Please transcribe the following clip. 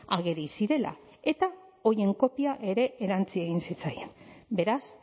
ageri zirela eta horien kopia ere erantsi egin zitzaien beraz